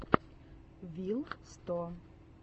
вил сто